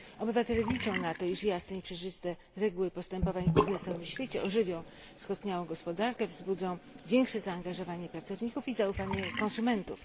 Obywatele liczą na to, iż jasne i przejrzyste reguły postępowań w biznesowym świecie ożywią skostniałą gospodarkę, wzbudzą większe zaangażowanie pracowników i zaufanie konsumentów.